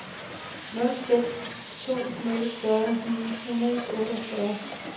nul seks to nul fyrre ni hundrede og otteogfyrre